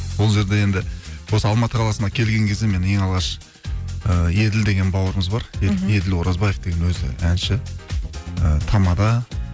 ол жерде енді осы алматы қаласына келген кезде мен ең алғаш і еділ деген бауырымыз бар мхм еділ оразбаев деген өзі әнші і тамада